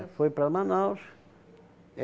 foi para Manaus.